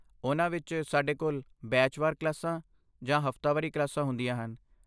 ਉਨ੍ਹਾਂ ਵਿੱਚ, ਸਾਡੇ ਕੋਲ ਬੈਚ ਵਾਰ ਕਲਾਸਾਂ ਜਾਂ ਹਫ਼ਤਾਵਾਰੀ ਕਲਾਸਾਂ ਹੁੰਦੀਆਂ ਹਨ